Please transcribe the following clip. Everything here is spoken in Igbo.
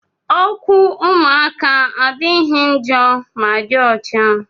Okwu ụmụaka adịghị njọ ma dị ọcha.